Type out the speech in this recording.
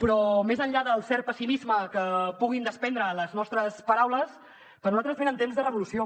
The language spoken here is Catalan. però més enllà del cert pessimisme que puguin desprendre les nostres paraules per nosaltres venen temps de revolució